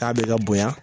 Taa bɛ ka bonya